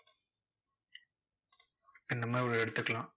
இந்த மாதிரி ஒரு எடுத்துக்கலாம்.